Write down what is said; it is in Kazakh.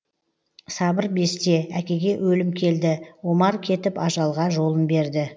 сабыр бесте әкеге өлім келді омар кетіп ажалға жолын берді